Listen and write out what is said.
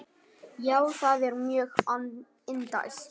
Já, það er mjög indælt.